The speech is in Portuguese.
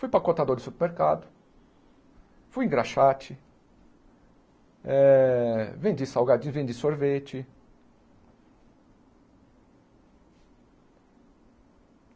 Fui empacotador de supermercado, fui engraxate, eh vendi salgadinho, vendi sorvete.